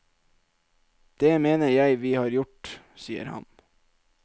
Det mener jeg vi har gjort, sier han.